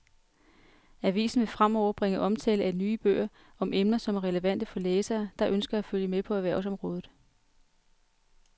Avisen vil fremover bringe omtale af nye bøger om emner, som er relevante for læsere, der ønsker at følge med på erhvervsområdet.